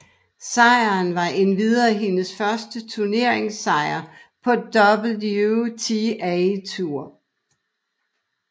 Sejren var endvidere hendes første turneringssejr på WTA Tour